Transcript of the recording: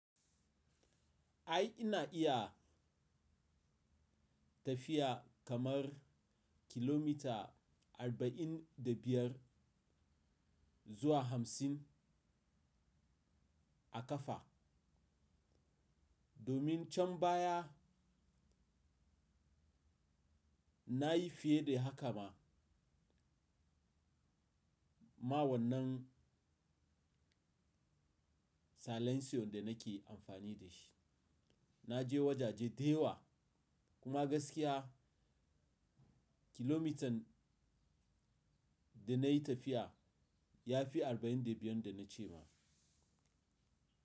Ai ina iya tafiya kamar kilomita arba'in da biyar zuwa hamsin a ƙafa, domin can baya na yi fiye da haka ma. Ma wannan salansiyon da nake amfani da shi. Na je wajaje da yawa kuma gaskiya kilomitan da na yi tafiya ya fi arba'in da biyun da na ce ma.